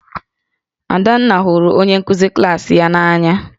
Adanna hụrụ onye nkụzi klaasị ya n'anya